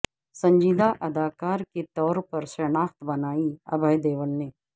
سنجیدہ اداکار کے طور پر شناخت بنائی ابھے دیول نے